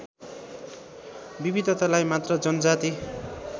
विविधतालाई मात्र जनजाति